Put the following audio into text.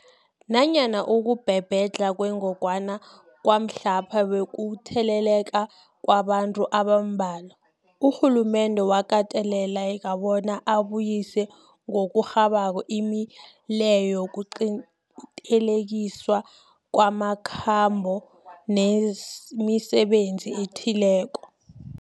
Nanyana ukubhebhedlha kwengogwana kwamhlapha bekukutheleleka kwabantu abambalwa, urhulumende wakateleleka bona abuyise ngokurhabako imileyo yokuqinteliswa kwamakhambo nemisebenzi ethileko.